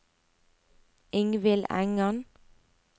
Ingvild Engan